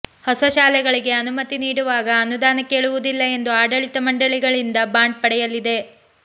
ಹೊಸ ಶಾಲೆಗಳಿಗೆ ಅನುಮತಿ ನೀಡುವಾಗ ಅನುದಾನ ಕೇಳುವುದಿಲ್ಲ ಎಂದು ಆಡಳಿತ ಮಂಡಳಿಗಳಿಂದ ಬಾಂಡ್ ಪಡೆಯಲಿದೆ